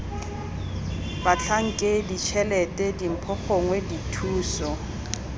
batlhankedi tshelete dimpho gongwe dithuso